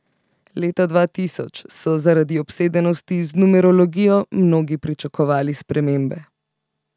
Leta dva tisoč so zaradi obsedenosti z numerologijo mnogi pričakovali spremembe.